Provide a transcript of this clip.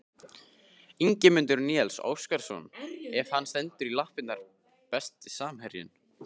Ingimundur Níels Óskarsson ef hann stendur í lappirnar Besti samherjinn?